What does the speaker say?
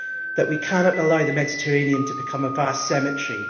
that we cannot allow the Mediterranean to become a vast cemetery.